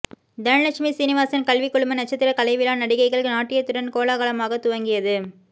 தனலட்சுமி சீனிவாசன் கல்வி குழும நட்சத்திர கலைவிழா நடிகைகள் நாட்டியத்துடன் கோலாகலமாக துவங்கியது